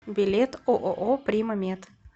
билет ооо прима мед